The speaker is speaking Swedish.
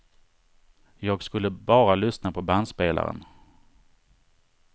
Jag skulle bara lyssna på bandspelaren.